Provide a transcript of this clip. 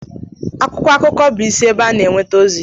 akwụkwọ akụkọ bụ isi ebe a na-enweta ozi